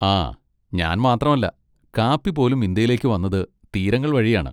ആ, ഞാൻ മാത്രമല്ല, കാപ്പി പോലും ഇന്ത്യയിലേക്ക് വന്നത് തീരങ്ങൾ വഴിയാണ്.